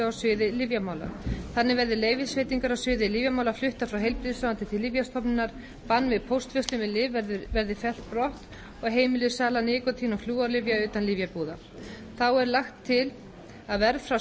á sviði lyfjamála þannig verði leyfisveitingar á sviði lyfjamála fluttar frá heilbrigðisráðuneyti til lyfjastofnunar bann við póstverslun með lyf verði fellt brott og heimiluð sala nikótín og flúorlyfja utan lyfjabúða þá er lagt til að verð frá